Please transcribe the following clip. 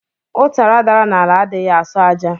Utara dara n'ala adighi aso aja.